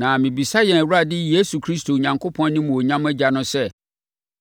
na mebisa yɛn Awurade Yesu Kristo Onyankopɔn, animuonyam Agya no sɛ,